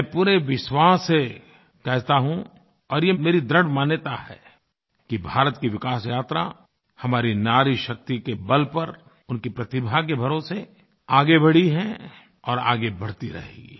मैं पूरे विश्वास से कहता हूँ और ये मेरी दृढ़ मान्यता है कि भारत की विकास यात्रा हमारी नारीशक्ति के बल पर उनकी प्रतिभा के भरोसे आगे बढ़ी है और आगे बढ़ती रहेगी